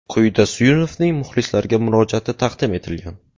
Quyida Suyunovning muxlislarga murojaati taqdim etilgan.